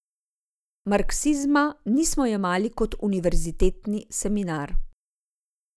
Marksizma nismo jemali kot univerzitetni seminar.